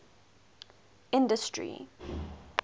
industry